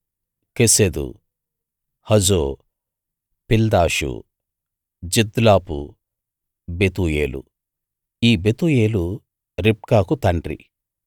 కెసెదు హజో పిల్దాషు జిద్లాపు బెతూయేలు ఈ బెతూయేలు రిబ్కాకు తండ్రి